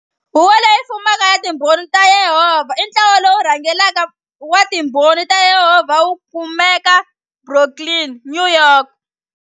Huvo Leyi Fumaka ya Timbhoni ta Yehovha i ntlawa lowu rhangelaka wa Timbhoni ta Yehovha wu kumeka Brooklyn, New York.